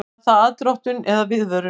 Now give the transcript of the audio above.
Var það aðdróttun eða viðvörun?